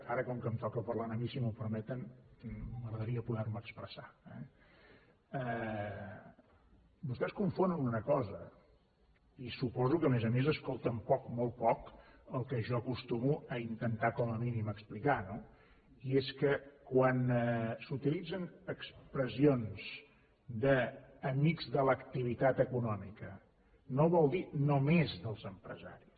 ara com que em toca parlar a mi si m’ho permeten m’agradaria poder me expressar eh vostès confonen una cosa i suposo que a més a més escolten poc molt poc el que jo acostumo a intentar com a mínim explicar no i és que quan s’utilitzen expressions d’ amics de l’activitat econòmica no vol dir només dels empresaris